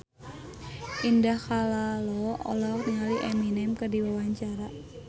Indah Kalalo olohok ningali Eminem keur diwawancara